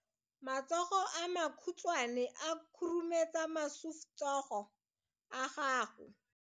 Matsogo a makhutshwane a khurumetsa masufutsogo a gago.